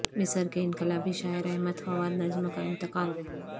مصر کے انقلابی شاعر احمد فواد نجم کا انتقال